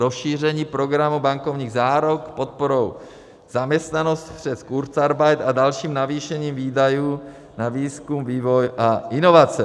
Rozšíření programu bankovních záruk podporou zaměstnanosti přes kurzarbeit a dalším navýšením výdajů na výzkum, vývoj a inovace.